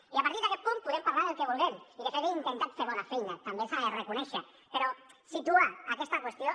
i a partir d’aquest punt podem parlar del que vulguem i de fet hem intentat fer bona feina també s’ha de reconèixer però situa aquesta qüestió